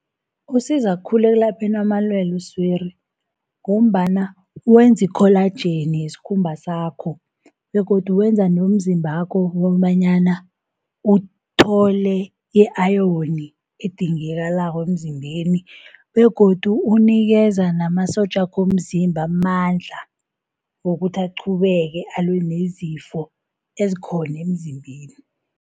Usiza khulu ekulapheni amalwele oswiri, ngombana wenza ikholajeni yesikhumba sakho, begodu wenza nomzimba wakho kobanyana uthole i-ayoni edingakalako emzimbeni, begodu unikeza namasotja wakho womzimba amandla wokuthi aqhubeke alwe nezifo ezikhona emzimbeni.